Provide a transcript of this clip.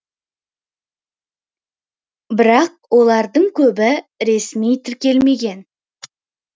бірақ олардың көбі ресми тіркелмеген